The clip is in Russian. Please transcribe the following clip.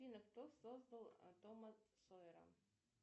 афина кто создал тома сойера